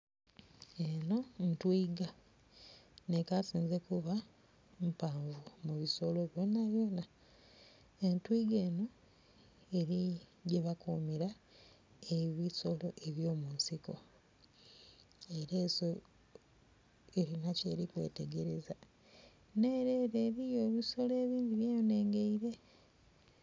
Eno ntwiga ne kasinze kuba mpavu mu bisolo byonabyona, entwiga eno eri ghebakumira ebisolo ebyo mu nsiko. Era enso erina byeri kwetegereza, nere ere eriyo ebisolo ebindhi bye nengeire.